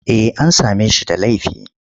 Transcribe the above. Eh an same shi da laifi.